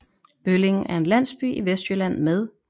Bølling er en landsby i Vestjylland med